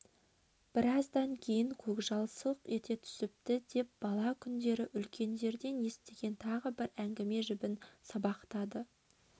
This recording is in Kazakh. біраздан кейін көкжал сылқ ете түсіпті деп бала күндері үлкендерден естіген тағы бір әңгіме жібін сабақтады